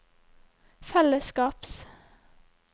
fellesskaps